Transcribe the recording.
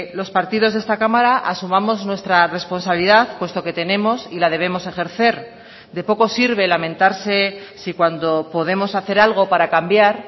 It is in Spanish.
los partidos de esta cámara asumamos nuestra responsabilidad puesto que tenemos y la debemos ejercer de poco sirve lamentarse si cuando podemos hacer algo para cambiar